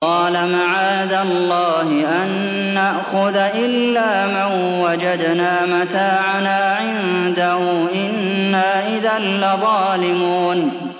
قَالَ مَعَاذَ اللَّهِ أَن نَّأْخُذَ إِلَّا مَن وَجَدْنَا مَتَاعَنَا عِندَهُ إِنَّا إِذًا لَّظَالِمُونَ